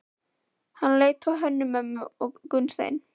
Hann leit á Hönnu-Mömmu og Gunnstein.